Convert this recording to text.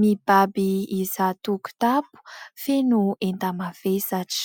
mibaby izato kitapo feno enta-mavesatra.